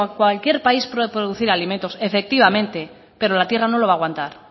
cualquier país puede producir alimentos efectivamente pero la tierra no lo va a aguantar